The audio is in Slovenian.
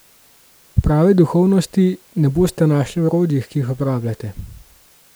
Prave duhovnosti ne boste našli v orodjih, ki jih uporabljate.